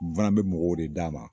N fana be mɔgɔw de d'a ma